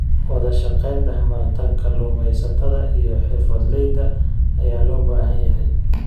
Wadashaqeyn dhexmarta kalluumeysatada iyo xirfadleyda ayaa loo baahan yahay.